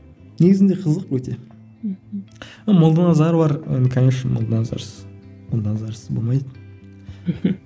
негізінде қызық өте мхм молданазар бар енді конечно молданазарсыз молданазарсыз болмайды мхм